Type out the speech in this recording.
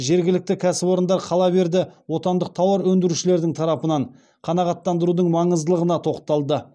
жергілікті кәсіпорындар қала берді отандық тауар өндірушілердің тарапынан қанағаттандырудың маңыздылығына тоқталды